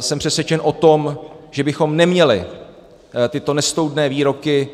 Jsem přesvědčen o tom, že bychom neměli tyto nestoudné výroky